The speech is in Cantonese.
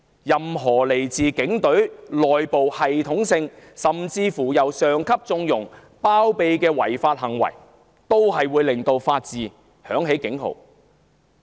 任何來自警隊內部系統性，甚至由上級縱容、包庇的違法行為，都會令法治響起警號。